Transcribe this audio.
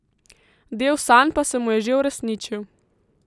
Del sanj pa se mu je že uresničil.